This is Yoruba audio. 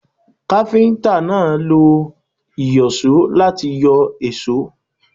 Káfíntà náà lo ìyọ̀só láti yọ èsó.